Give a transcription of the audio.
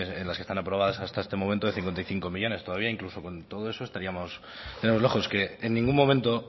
en las que están aprobadas hasta este momento de cincuenta y cinco millónes todavía incluso con todo eso estaríamos muy lejos que en ningún momento